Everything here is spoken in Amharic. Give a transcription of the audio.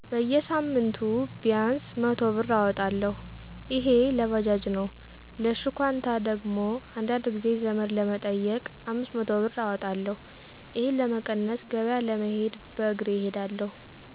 በጌሳምንቱ ቢያንስ 100ብር እወጣለሁ እሄ ለባጃጅ ነው ለሽኳንታ ደግሞ አንዳንድ ጊዜ ዘመድ ለመጠየቅ 500 ብር አወጣለሁ። እሄን ለመቀነስ ገበያ ለመሄድ በእሬ እሄዳለሁ።